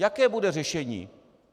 Jaké bude řešení?